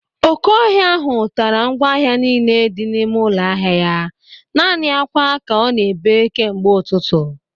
Oke ọhịa ahụ tara ngwa ahịa niile dị n'ime ụlọ ahịa ya. Naanị akwa ka ọ na-ebe kemgbe ụtụtụ